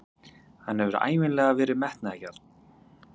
Hann hefur ævinlega verið metnaðargjarn.